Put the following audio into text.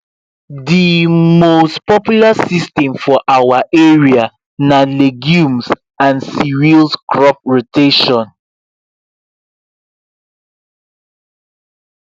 the most popular system for our area na legumes and cereals crop rotation